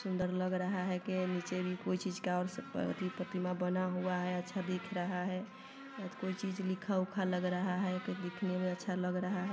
सुन्दर लग रहा है के नीचे भी कोई चीज का एथी अ प्रतिमा बना हुआ है अच्छा दिख रहा है आज कोई चीज लिखा उखा लग रहा है कोई दिखने में अच्छा लग रहा है।